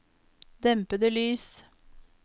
dempede lys